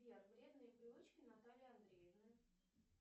сбер вредные привычки натальи андреевны